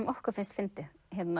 okkur finnst fyndið